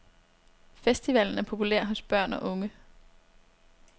Festivalen er populær hos børn og unge.